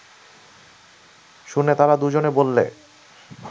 শুনে তারা দুজনে বললে